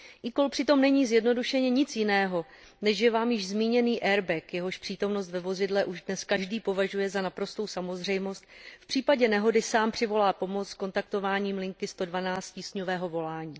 eCall přitom není zjednodušeně nic jiného, než že vám již zmíněný airbag, jehož přítomnost ve vozidle už dnes každý považuje za naprostou samozřejmost, v případě nehody sám přivolá pomoc kontaktováním linky 112 tísňového volání.